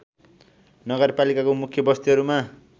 नगरपालिकाको मुख्य बस्तीहरूमा